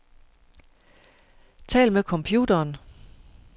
Tal med computeren.